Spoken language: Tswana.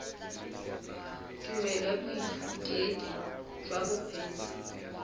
tumelelo ya boithutedi jwa bokgweetsi